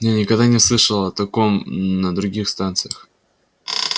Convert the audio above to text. я никогда не слышал о таком на других станциях